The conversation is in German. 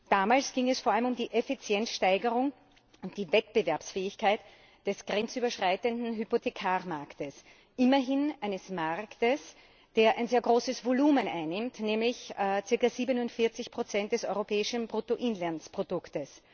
Damals ging es vor allem um die Effizienzsteigerung und die Wettbewerbsfähigkeit des grenzüberschreitenden Hypothekarmarkts, immerhin eines Markts, der ein sehr großes Volumen einnimmt, nämlich ca. 47 des europäischen Bruttoinlandsprodukts.